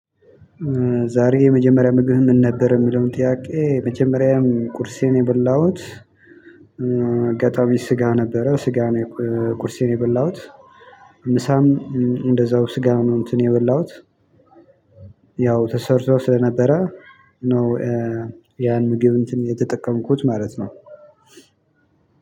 ዛሬ የመጀመሪያ ምግብ ምን ነበር የሚለውን ጥያቄ የመጀመሪያዬም ቁርሴን የበላሁት። አጋጣሚ ስጋ ነበረ ስጋ ነው። ቁርሴን የበላሁት ምሳም እንደዛው ስጋ ነው እንትን የበላሁት። ያው ተሰርቶ ስለነበረ ነው። ያን ምግብ እንትን የተጠቀምኩት ማለት ነው።